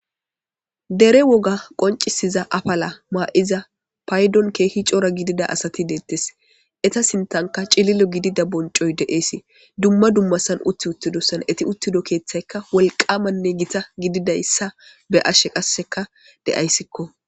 dere woga qoncisiza apala maa'iza paydon keehi coora gidida asati deettes eta sintanka cililo gidida boncoy de'eesi dumma dummasan utti uttidosan eti uttido keeththaykka wolqamanne gita gididayssa be'ashe qasseka de'ayssikko